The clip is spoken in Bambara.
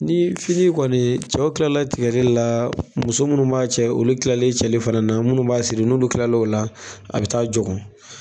Ni fini kɔni cɛw kila la tigɛli la muso munnu b'a cɛ olu kilalen cɛli fana na munnu b'a siri n'olu kilala o la be taa jɔ kun